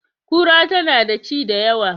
Kura tana da ci da yawa